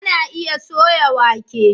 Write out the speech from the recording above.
Ana iya soya wake.